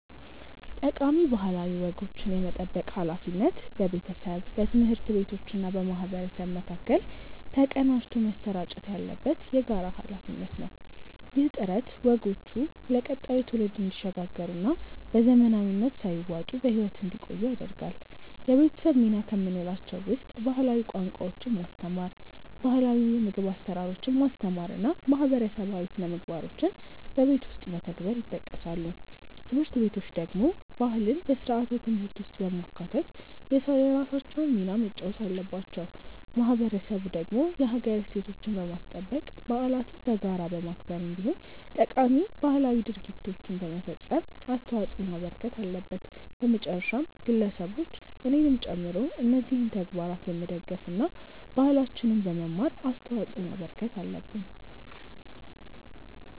ጠቃሚ ባህላዊ ወጎችን የመጠበቅ ሃላፊነት በቤተሰብ፣ በትምህርት ቤቶችና በማህበረሰብ መካከል ተቀናጅቶ መሰራጨት ያለበት የጋራ ሃላፊነት ነው። ይህ ጥረት ወጎቹ ለቀጣዩ ትውልድ እንዲሸጋገሩና በዘመናዊነት ሳይዋጡ በህይወት እንዲቆዩ ያደርጋል። የቤተሰብ ሚና ከምንላቸው ውስጥ ባህላዊ ቋንቋዎችን ማስተማር፣ ባህላው የምግብ አሰራሮችን ማስተማር እና ማህበረሰባዊ ስነምግባሮችን በቤት ውስጥ መተግበር ይጠቀሳሉ። ትምህርት ቤቶች ደግሞ ባህልን በስርዓተ ትምህርት ውስጥ በማካተት የራሳቸውን ሚና መጫወት አለባቸው። ማህበረሰቡ ደግሞ የሀገር እሴቶችን በማስጠበቅ፣ በዓለትን በጋራ በማክበር እንዲሁም ጠቃሚ ባህላዊ ድርጊቶችን በመፈፀም አስተዋጽዖ ማበርከት አለበት። በመጨረሻም ግለሰቦች እኔንም ጨምሮ እነዚህን ተግባራት በመደገፍ እና ባህላችንን በመማር አስተዋጽዖ ማበርከት አለብን።